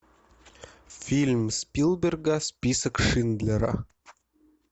фильм спилберга список шиндлера